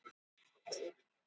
Haltraði að bekknum.